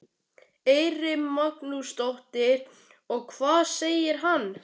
Eyrún Magnúsdóttir: Og hvað segir hann?